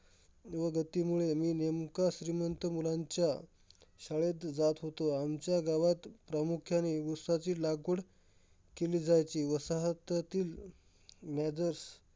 गतीमुळे मी नेमका श्रीमंत मुलांच्या शाळेत जात होते. आमच्या गावात प्रामुख्याने उसाची लागवड केली जायची. वसाहतातील नेदर्स